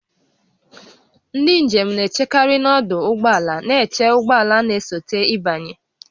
Ndị njem na-echekarị n'ọdụ ụgbọ ala na-eche ụgbọ ala na-esote ịbanye